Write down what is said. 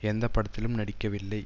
எந்த படத்திலும் நடிக்கவில்லை